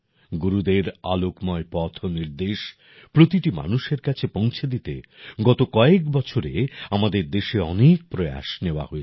গুরুদের আলোকময় পথ নির্দেশ প্রতিটি মানুষের কাছে পৌঁছে দিতে গত কয়েক বছরে আমাদের দেশে অনেক প্রয়াস নেওয়া হয়েছে